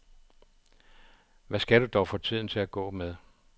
Hvad skal du dog få tiden til at gå med?